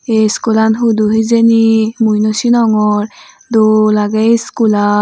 aye schoollan hudu hejani mui nosenogor doll aagay schoolan.